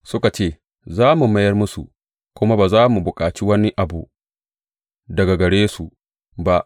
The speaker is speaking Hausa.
Suka ce, Za mu mayar musu, kuma ba za mu bukaci wani abu daga gare su ba.